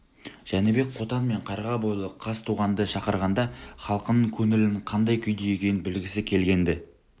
жәнібек қотан мен қарға бойлы қазтуғанды шақырғанда халқының көңілінің қандай күйде екенін білгісі келген-ді